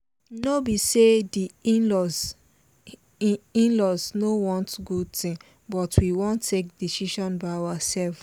no be say di in-laws in-laws no want good thing but we wan take decision by ourselve